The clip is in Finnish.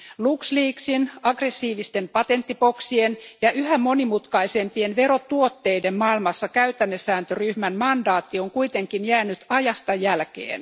LuxLeaksin, aggressiivisten patenttiboksien ja yhä monimutkaisempien verotuotteiden maailmassa käytännesääntöryhmän mandaatti on kuitenkin jäänyt ajasta jälkeen.